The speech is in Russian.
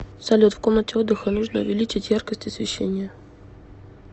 салют в комнате отдыха нужно увеличить яркость освещения